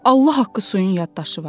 Allah haqqı suyun yaddaşı var.